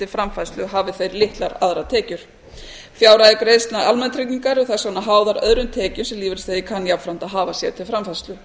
framfærslu hafi þeir litlar aðrar tekjur fjárhæðir greiðslna almannatrygginga eru þess vegna háðar öðrum tekjum sem lífeyrisþegi kann jafnframt að hafa sér til framfærslu